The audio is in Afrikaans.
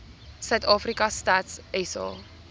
suidafrika stats sa